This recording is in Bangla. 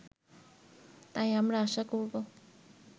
তাই আমরা আশা করব